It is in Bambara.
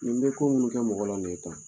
Nin bɛ ko munnu kɛ mɔgɔ la ni ye tan.